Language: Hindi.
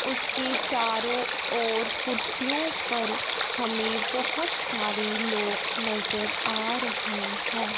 उसके चारों ओर कुर्सियों पर हमे बहोत सारे लोग नजर आ रहे है।